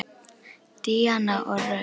Díana og Rut.